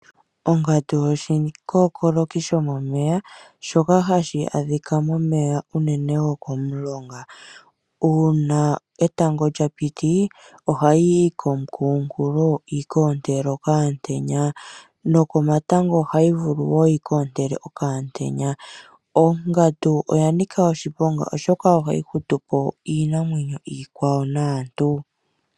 Ongandu oshikokoloki sho momeya shoka hashi adhika momeya unene goko mulonga. Uuna etango lya piti oha yi yi komukunkulo yikoontele okamutenya. Nokomatango ohayi vulu wo yi koontele okamutenya. Ongandu oya nika oshiponga oshoka ohayi hutupo iinamwenyo iikwawo naantu.